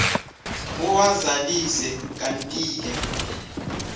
uwazalise kantike